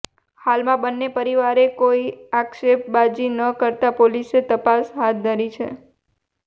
હાલમાં બન્ને પરિવારે કોઇ આક્ષેપબાજી ન કરતાં પોલીસે તપાસ હાથ ધરી છે